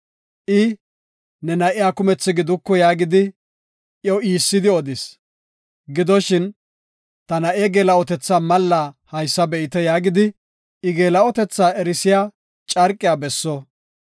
I, ‘Ne na7iya kumethi giduku’ yaagidi iyo iissidi odis. Gidoshin, ‘Ta na7e geela7otetha mallaa haysa be7ite’ ” yaagidi, I geela7otetha erisiya carqiya besso.